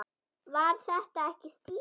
Var þetta ekki Stína?